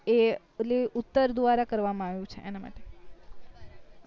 એ ઓલી ઉતર દ્વારા કરવા માં આવ્યું છે એના માટે